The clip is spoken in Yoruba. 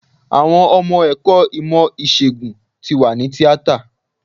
Àwọn ọmọ ẹ̀kọ́ ìmọ̀ ìsègùn tí wà ní tíátà.